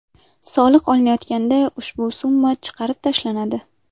Soliq olinayotganda ushbu summa chiqarib tashlanadi.